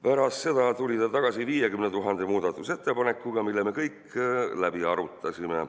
Pärast seda tuli ta tagasi 50 000 muudatusettepanekuga, mis me kõik läbi arutasime.